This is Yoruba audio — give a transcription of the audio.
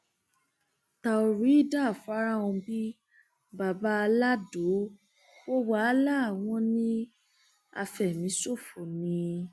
àwọn ọmọ ẹgbẹ òkùnkùn kọjú ìjà síra wọn làkúngbààkókò èèyàn méjì ló ti kú